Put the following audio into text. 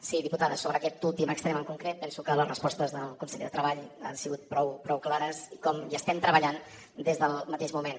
sí diputada sobre aquest últim extrem en concret penso que les respostes del conseller de treball han sigut prou clares i com hi estem treballant des del mateix moment